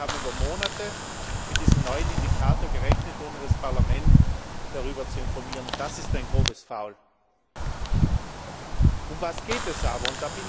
Das heißt, Sie haben über Monate mit diesem neuen Indikator gerechnet, ohne das Parlament darüber zu informieren. Das ist ein grobes Foul! Worum geht es aber?